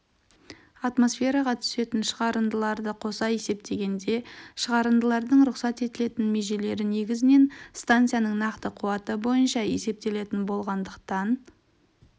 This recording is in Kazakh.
атмосфераға түсетін шығарындыларды қоса есептегенде шығарындылардың рұқсат етілетін межелері негізінен станцияның нақты қуаты бойынша есептелетін болғандықтан